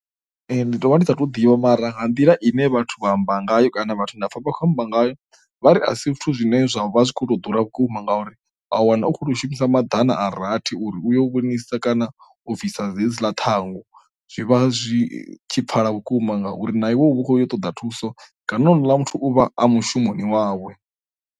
Ndi tovha ndi sa tu ḓivha mara nga nḓila ine vhathu vha amba ngayo kana vhathu ndapfa vha khou amba ngayo vha ri a si zwithu zwine zwa vha zwi kho to ḓura vhukuma ngauri a wana u khou tou shumisa maḓana a rathi uri uyo vhonisa kana o bvisa dzi hedzila ṱhangu, zwi vha zwi tshi pfhala vhukuma ngauri na iwe vhu khou ṱoḓa thuso kana houḽa muthu u vha a mushumoni wawe.